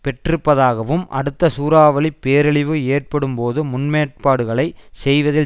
பெற்றிருப்பதாகவும் அடுத்த சூறாவளி பேரழிவு ஏற்படும்போது முன்னேற்பாடுகளை செய்வதில்